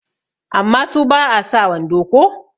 amma su ba a sa wando ko?